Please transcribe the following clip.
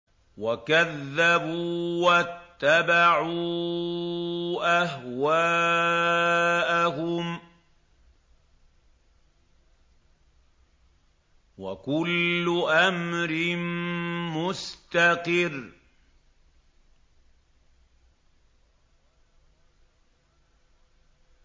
وَكَذَّبُوا وَاتَّبَعُوا أَهْوَاءَهُمْ ۚ وَكُلُّ أَمْرٍ مُّسْتَقِرٌّ